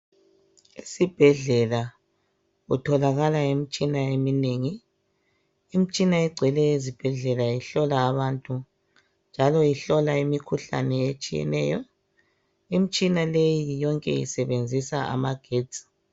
Esibhedlela kutholakala imitshina eminengi imitshina egcwele ezibhedlela ihlola abantu njalo ihlola imikhuhlane etshiyeneyo imitshina leyi yonke isebenzisa amagetsi.